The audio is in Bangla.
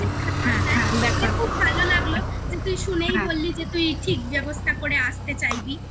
আমার খুব ভালো লাগলো তুই শুনেই বললি যে তুই ঠিক ব্যবস্থা করে আসতে চাইবি